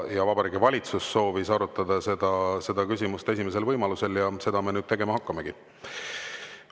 Ja Vabariigi Valitsus soovis arutada seda küsimust esimesel võimalusel ja seda me nüüd tegema hakkamegi.